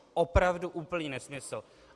Opravdu úplný nesmysl!